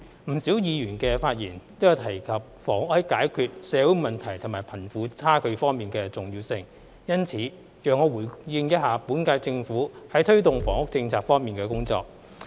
不少議員的發言都有提及房屋在解決社會問題和貧富差距方面的重要性。因此，讓我回應一下本屆政府在推動房屋政策方面的工作。